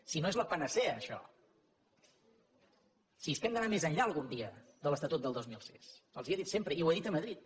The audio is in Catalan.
si no és la panacea això si és que hem d’anar més enllà algun dia de l’estatut del dos mil sis els ho he dit sempre i ho he dit a madrid